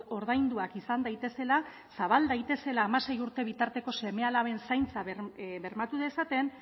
ordainduak izan daitezela zabal daitezela hamasei urte bitarteko seme alaben zaintza bermatu dezaten